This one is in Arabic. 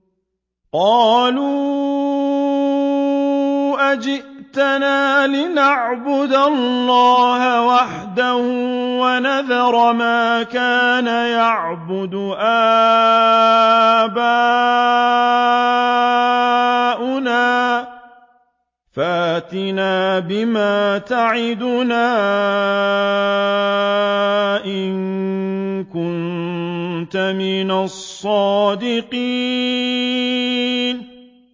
قَالُوا أَجِئْتَنَا لِنَعْبُدَ اللَّهَ وَحْدَهُ وَنَذَرَ مَا كَانَ يَعْبُدُ آبَاؤُنَا ۖ فَأْتِنَا بِمَا تَعِدُنَا إِن كُنتَ مِنَ الصَّادِقِينَ